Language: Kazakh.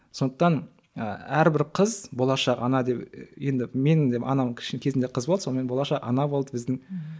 сондықтан ы әрбір қыз болашақ ана деп енді менің де анам кезінде қыз болды сонымен болашақ ана болды біздің мхм